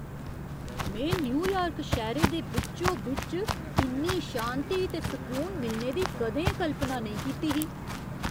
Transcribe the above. में न्यूयार्क शैह्‌रे दे बिच्चो बिच्च इन्नी शांति ते सकून मिलने दी कदें कल्पना नेईं कीती ही!